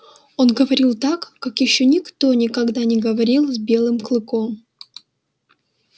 он говорил так как ещё никто никогда не говорил с белым клыком